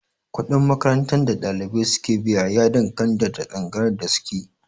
Kuɗin makarantar da ɗalibai su ke biya ya danganta da tsangayar da suke